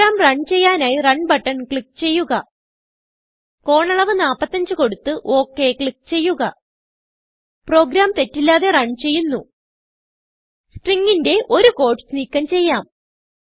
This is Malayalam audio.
പ്രോഗ്രാം റൺ ചെയ്യാനായി റണ് ബട്ടൺ ക്ലിക്ക് ചെയ്യുക കോണളവ് 45 കൊടുത്ത്ok ക്ലിക്ക് ചെയ്യുക പ്രോഗ്രാം തെറ്റില്ലാതെ റൺ ചെയ്യുന്നു സ്ട്രിംഗ് ന്റെ ഒരു ക്യൂട്ടീസ് നീക്കം ചെയ്യാം